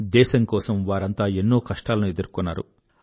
దేశం కోసం వారంతా ఎన్నో కష్టాలను ఎదుర్కొన్నారు